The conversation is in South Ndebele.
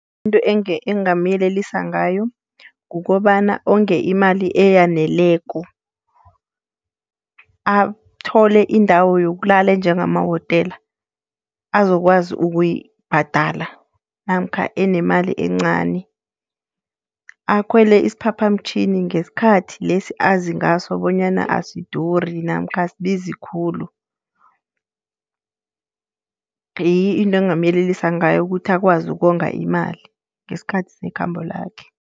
Into engingamyelelisa ngayo kukobana onge imali eyaneleko. Athole indawo yokulala njengamawotela, azokwazi ukuyibhadala namkha enemali encani. Akhwele isiphaphamtjhini ngesikhathi lesi azi ngaso bonyana asiduri namkha asibizi khulu. Ngiyo into engingamyelelisa ngayo ukuthi akwazi ukonga imali, ngesikhathi sekhambo lakhe.